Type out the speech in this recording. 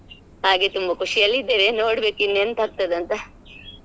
ಹಾಗೆ ತುಂಬಾ ಖುಷಿಯಲ್ಲಿದ್ದೇವೆ ನೋಡ್ಬೇಕ ಇನ್ ಎಂತ ಆಗ್ತದೆ ಅಂತ .